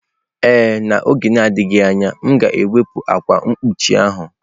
Ee, n'oge na-adịghị anya, m ga-ewepụ ákwà mgbochi ahụ